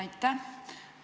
Aitäh!